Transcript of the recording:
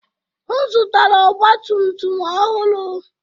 M zụtara ọgba tum tum ọhụrụ.